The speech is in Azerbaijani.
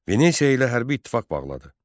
Venesiya ilə hərbi ittifaq bağladı.